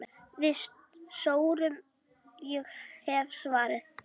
Við sórum, ég hef svarið.